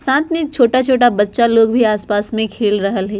साथ में छोटा-छोटा बच्चा लोग भी आस-पास में खेल रहल हेय।